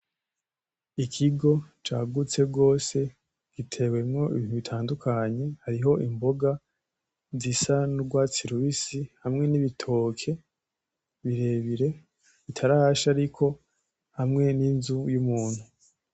Ikigo cagutse gose gitewemo ibintu bitandukanye hariho imboga zisa n'urwatsi rubisi hamwe n'ibitoke birebire bitarasha ariko hamwe n'inzu y'umuntu.